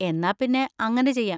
എന്നാ പിന്നെ അങ്ങനെ ചെയ്യാം.